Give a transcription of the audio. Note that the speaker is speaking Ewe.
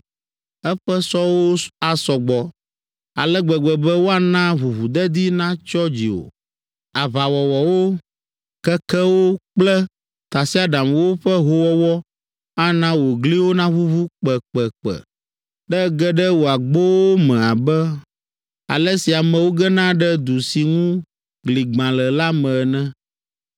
Eƒe sɔwo asɔ gbɔ ale gbegbe be woana ʋuʋudedi natsyɔ dziwò. Aʋawɔsɔwo, kekewo kple tasiaɖamwo ƒe hoowɔwɔ ana wò gliwo naʋuʋu kpekpekpe, ne ege ɖe wò agbowo me abe ale si amewo gena ɖe du si ŋu gli gbã le la me ene.